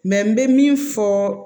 Mɛ n bɛ min fɔ